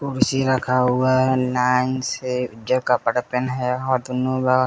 कुर्सी रखा हुआ है नाइन से जो कपड़ा पेहना है --